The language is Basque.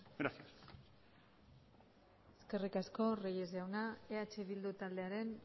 gracias eskerrik asko reyes jauna eh bildu taldearen